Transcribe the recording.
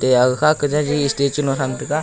aga kha jaji statue nu thang tega.